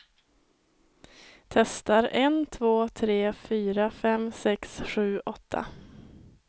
Testar en två tre fyra fem sex sju åtta.